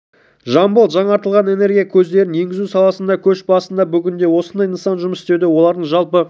жамбыл жаңартылған энергия көздерін енгізу саласында да көш басында бүгінде осындай нысан жұмыс істеуде олардың жалпы